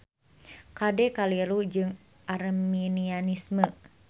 Kade kaliru jeung Arminianisme.